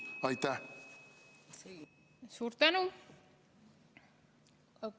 Suur tänu!